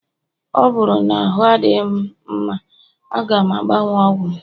ọ bụrụ na ahụ adịghị m mma, a ga m agbanwe ọgwụ m